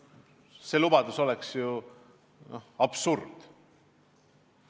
See lubadus oleks ju absurd!